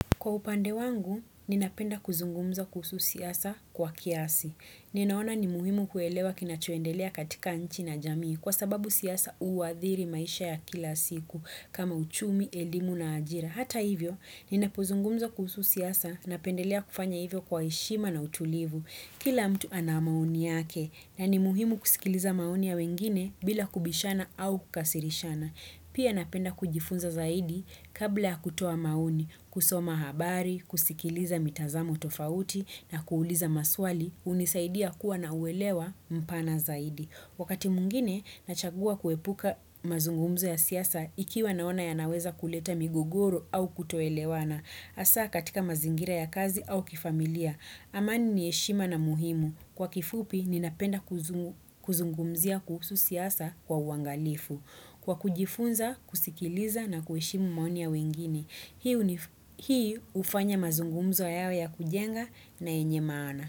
Kwa upande wangu, ninapenda kuzungumza kuhusu siasa kwa kiasi. Ninaona ni muhimu kuelewa kinachoendelea katika nchi na jamii kwa sababu siasa uadhiri maisha ya kila siku kama uchumi, elimu na ajira. Hata hivyo, ninapozungumza kuhusu siasa napendelea kufanya hivyo kwa heshima na utulivu. Kila mtu ana maoni yake na ni muhimu kusikiliza maoni ya wengine bila kubishana au kukasirishana. Pia napenda kujifunza zaidi kabla kutoa maoni, kusoma habari, kusikiliza mitazamo tofauti na kuuliza maswali, hunisaidia kuwa nauelewa mpana zaidi. Wakati mwingine, nachagua kuepuka mazungumzo ya siasa ikiwa naona yanaweza kuleta migogoro au kutoelewana. Asa katika mazingira ya kazi au kifamilia, amani ni heshima na muhimu. Kwa kifupi, ninapenda kuzungumzia kuhusu siasa kwa uangalifu. Kwa kujifunza, kusikiliza na kuheshimu maoni ya wengine, hii hufanya mazungumzo yawe ya kujenga na yenye maana.